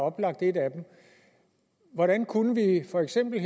oplagt et af dem hvordan kunne vi for eksempel